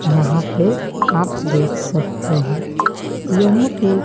यहां पे आप देख सकते हैं। यह एक--